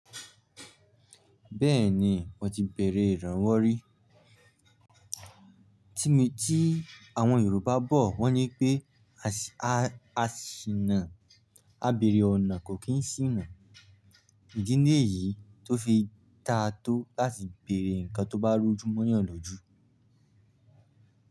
Bẹ́ẹ̀ni, mo ti bere ìrànwọ́ rí. Tí mi ti àwọn Yorùbá bọ̀ wọ́n ní pé, asi aa “a bere ọ̀nà kò kín sìnà.” Idi ni eyìí tó fi da tó láti bere nǹkan tó bá rújú mọ́yàn lójú.